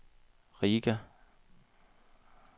Riga